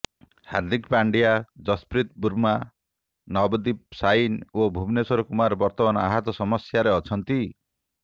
ହାର୍ଦ୍ଦିକ ପାଣ୍ଡ୍ୟା ଯଶପ୍ରୀତ ବୁମ୍ରା ନଭଦୀପ ସାଇନି ଓ ଭୁବନେଶ୍ୱର କୁମାର ବର୍ତ୍ତମାନ ଆହତ ସମସ୍ୟାରେ ଅଛନ୍ତି